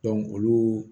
olu